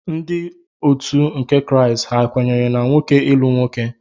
Ndị otu ụka Kraịst ha kwenyere na nwoke ịlụ nwoke?